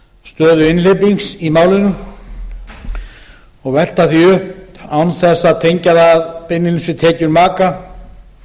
stöðu einhleypings í málinu og velta því upp án þess að tengja það beinlínis við tekjur maka